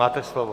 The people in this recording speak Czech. Máte slovo.